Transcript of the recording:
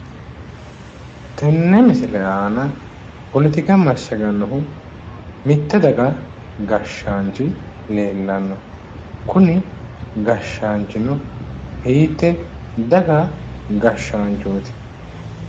Tenne misile aana poletika massagannohu mitte daga gashshaanchi leellanno kuni gashshaanchino hiittee daga gashshaanchooti?